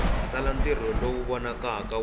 tsala ntirho lowu vonakaka wu